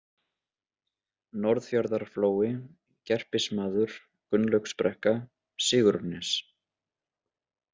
Norðfjarðarflói, Gerpismaður, Gunnlaugsbrekka, Sigurnes